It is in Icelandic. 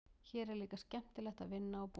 Hér er líka skemmtilegt að vinna og búa.